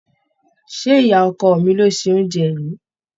Ṣé ìyá ọkọ mi ló se oúnjẹ yìí?